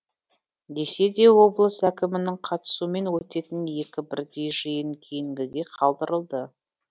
десе де облыс әкімінің қатысуымен өтетін екі бірдей жиын кейінгіге қалдырылды